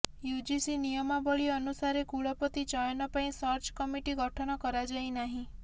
UGC ନିୟମାବଳୀ ଅନୁସାରେ କୁଳପତି ଚୟନ ପାଇଁ ସର୍ଚ୍ଚ କମଟି ଗଠନ କରାଯାଇ ନାହିଁ